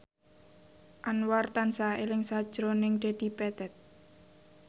Anwar tansah eling sakjroning Dedi Petet